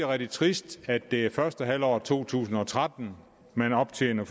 rigtig trist at det er i første halvår to tusind og tretten man optjener